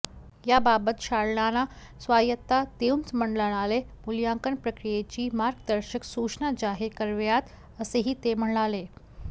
याबाबत शाळांना स्वायत्तता देऊन मंडळाने मूल्यांकन प्रक्रियेची मार्गदर्शक सूचना जाहीर कराव्यात असेही ते म्हणाले